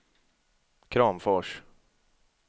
Kramfors